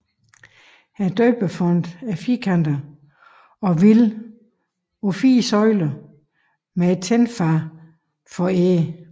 Døbefonten er firkantet og hviler på fire søjler med et tinfad foræret